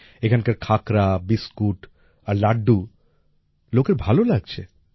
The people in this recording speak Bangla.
এখানকার খাকরা বিস্কুট আর লাড্ডু লোকের ভালো লাগছে